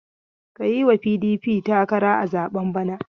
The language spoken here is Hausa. Ka yi wa PDP takara a zaben bana!